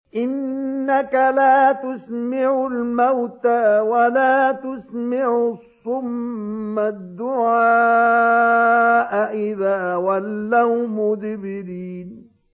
إِنَّكَ لَا تُسْمِعُ الْمَوْتَىٰ وَلَا تُسْمِعُ الصُّمَّ الدُّعَاءَ إِذَا وَلَّوْا مُدْبِرِينَ